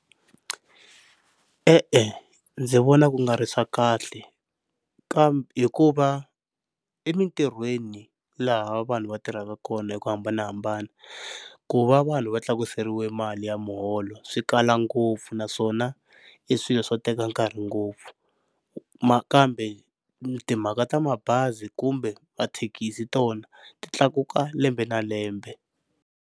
E-e ndzi vona ku nga ri swa kahle kambe hikuva emintirhweni laha vanhu va tirhaka kona hi ku hambanahambana ku va vanhu va tlakuseriwa mali ya muholo swikala ngopfu naswona i swilo swo teka nkarhi ngopfu, nakambe timhaka ta mabazi kumbe mathekisi tona ti tlakuka lembe na lembe.